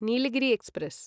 Nilgiri express